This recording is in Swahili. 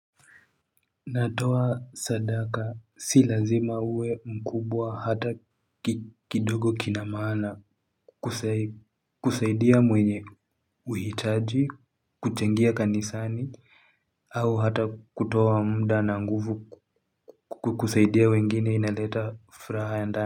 Natoa sadaka si lazima uwe mkubwa hata kidogo kina maana kusaidia mwenye uhitaji, kuchangia kanisani, au hata kutoa mda na nguvu kukusaidia wengine inaleta furaha ya ndani.